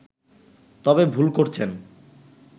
তবে ভুল করছেন